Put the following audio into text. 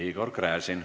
Igor Gräzin.